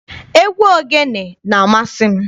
Egwu ogene na-amasị m.